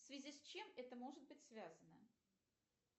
в связи с чем это может быть связано